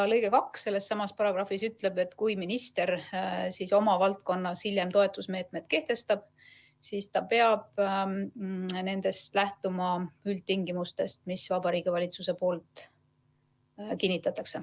Lõige 2 sellessamas paragrahvis ütleb, et kui minister oma valdkonnas hiljem toetusmeetmed kehtestab, siis ta peab lähtuma üldtingimustest, mille Vabariigi Valitsus kinnitab.